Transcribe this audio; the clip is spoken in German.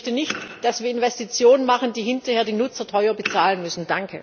Ich möchte nicht, dass wir Investitionen machen, die hinterher die Nutzer teuer bezahlen müssen.